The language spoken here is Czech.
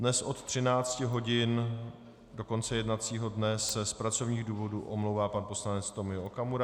Dnes od 13 hodin do konce jednacího dne se z pracovních důvodů omlouvá pan poslanec Tomio Okamura.